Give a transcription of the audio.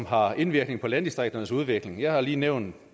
har indvirkning på landdistrikternes udvikling jeg har lige nævnt